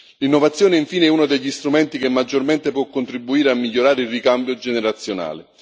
L'innovazione, infine, è uno degli strumenti che maggiormente può contribuire a migliorare il ricambio generazionale.